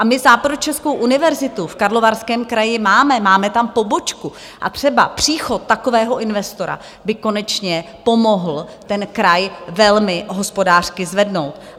A my Západočeskou univerzitu v Karlovarském kraji máme, máme tam pobočku, a třeba příchod takového investora by konečně pomohl ten kraj velmi hospodářsky zvednout.